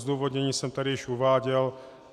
Zdůvodnění jsem tady již uváděl.